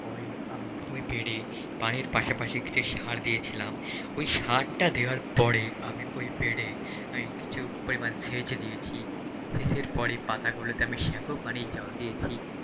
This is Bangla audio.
পরেই আমি ওই ব্রেডে পানির পাশাপাশি সার দিয়েছিলাম, ওই সার টা দেয়ার পরেই আমি ওই ব্রেডে কিছু পরিমাণ সেচ দিয়েছি সেজের পরই পাতাগুলোতে আমি শ্যাম্পু পানির জল দিয়েছি,